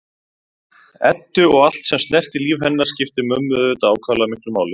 Eddu og allt sem snerti líf hennar skipti mömmu auðvitað ákaflega miklu máli.